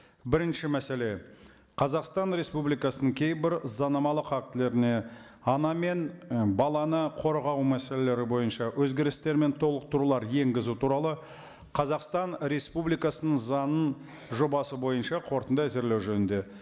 бірінші мәселе қазақстан республикасының кейбір заңнамалық актілеріне ана мен і баланы қорғау мәселелері бойынша өзгерістер мен толықтырулар енгізу туралы қазақстан республикасының заңының жобасы бойынша қорытынды әзірлеу жөнінде